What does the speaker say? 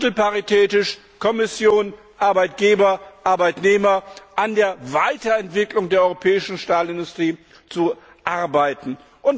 drittelparitätisch Kommission, Arbeitgeber, Arbeitnehmer sollte an der Weiterentwicklung der europäischen Stahlindustrie gearbeitet werden.